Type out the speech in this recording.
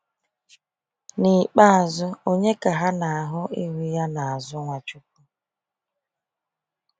N’ikpeazụ, ònye ka ha na ahụ ihu ya n'azụ Nwachukwu?